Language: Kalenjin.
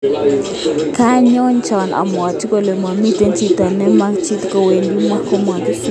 Kanyonjan abwati kole momite chito ne magen ki cho wendi amwoe, kobwati Smith